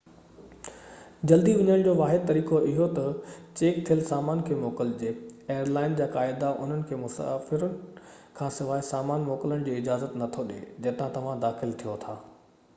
جلدي وڃڻ جو واحد طريقو اهو تہ چيڪ ٿيل سامان کي موڪلجي ايئر لائن جا قاعدا انهن کي مسافر کانسواءِ سامان موڪلڻ جي اجازت نٿو ڏي جتان توهان داخل ٿيو ٿا